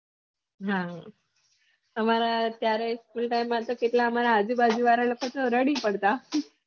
આમારા ત્યાંરે school time માં તો કેટલા આમારા આજુ બાજુ વાળા એ લોકો તો રડી માં પડતા